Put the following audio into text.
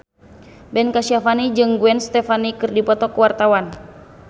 Ben Kasyafani jeung Gwen Stefani keur dipoto ku wartawan